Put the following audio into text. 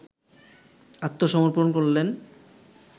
আত্মসমর্পন করলেন